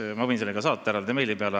Ma võin selle saata ka meili peale.